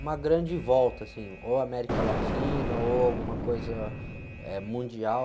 Uma grande volta, assim, ou América Latina, ou alguma coisa, eh, mundial.